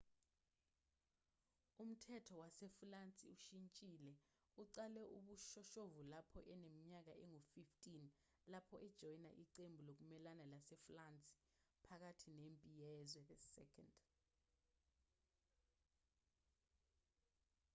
umthetho wasefulansi ushintshile uqale ubushoshovu lapho eneminyaka engu-15 lapho ejoyina iqembu lokumelana lasefulansi phakathi nempi yezwe ii